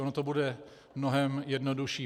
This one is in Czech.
Ono to bude mnohem jednodušší.